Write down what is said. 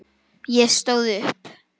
Ég stóð upp.